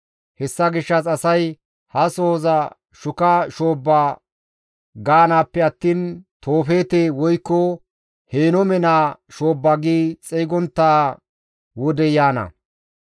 Hessa gishshas asay ha sohoza shuka shoobba gaanaappe attiin Toofeete woykko Henoome naa shoobba gi xeygontta wodey yaana.